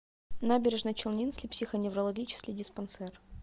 набережночелнинский психоневрологический диспансер